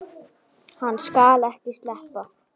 Hann skal ekki sleppa!